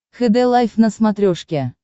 хд лайф на смотрешке